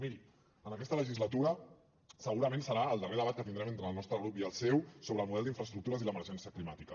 miri en aquesta legislatura segurament serà el darrer debat que tindrem entre el nostre grup i el seu sobre el model d’infraestructures i l’emergència climàtica